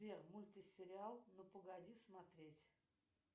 сбер мультсериал ну погоди смотреть